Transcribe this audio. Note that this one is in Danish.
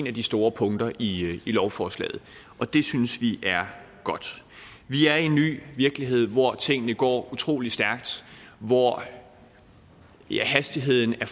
af de store punkter i lovforslaget og det synes vi er godt vi er i en ny virkelighed hvor tingene går utrolig stærkt hvor hastigheden er